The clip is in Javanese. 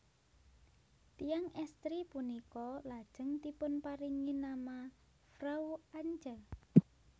Tiyang estri punika lajeng dipunparingi nama Frau Antje